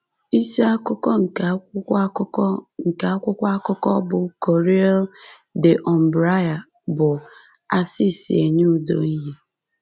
Isi akụkọ nke akwụkwọ akụkọ nke akwụkwọ akụkọ bụ́ Corriere dell’Umbria bụ “Assisi Enye Udo Ìhè.”